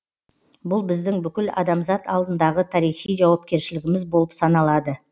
бұл біздің бүкіл адамзат алдындағы тарихи жауапкершілігіміз болып саналады